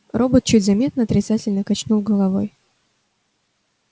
робот чуть заметно отрицательно качнул головой